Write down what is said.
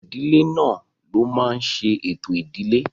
Àwọn ìdílé náà ló máa n ṣe ètò ìdílé